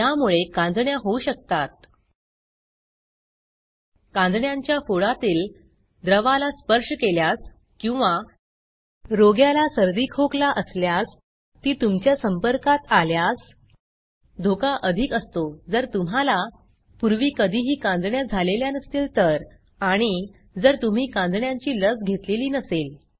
यामुळे कांजिण्या होऊ शकतात कांजिण्यांच्या फोडातील द्रवाला स्पर्श केल्यास किंवा रोग्याला सर्दी खोकला असल्यास ती तुमच्या संपर्कात आल्यास धोका अधिक असतो जर तुम्हाला पूर्वी कधीही कांजिण्या झालेल्या नसतील तर आणि जर तुम्ही कांजिण्यांची लस घेतलेली नसेल